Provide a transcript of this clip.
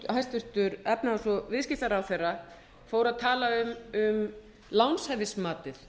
hæstvirtur efnahags og viðskiptaráðherra fór að tala um lánshæfismatið